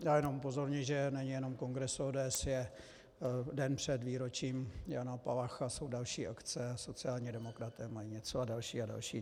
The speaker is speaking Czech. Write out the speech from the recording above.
Já jenom upozorňuji, že není jenom kongres ODS, je den před výročím Jana Palacha, jsou další akce, sociální demokraté mají něco a další a další.